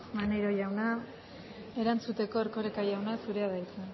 maneiro jauna erantzuteko erkoreka jauna zurea da hitza